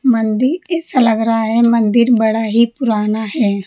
मंदिर ऐसा लग रहा है मंदिर बड़ा ही पुराना है।